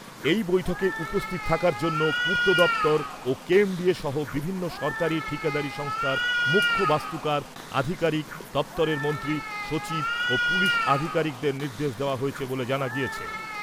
এই বৈঠকে উপস্থিত থাকার জন্যে পূর্ত দপ্তর ও কেএমডিএ সহ বিভিন্ন সরকারি ঠিকাদারি সংস্থার মুখ্য বাস্তুকার, আধিকারিক, দপ্তরের মন্ত্রী, সচিব ও পুলিশ আধিকারিকদের নির্দেশ দেওয়া হয়েছে বলে জানা গিয়েছে।